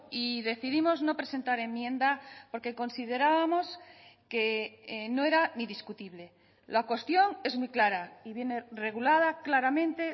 y decidimos no presentar enmienda porque considerábamos que no era ni discutible la cuestión es muy clara y viene regulada claramente